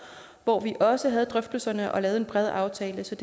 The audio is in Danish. hvor vi også havde drøftelserne og lavede en bred aftale så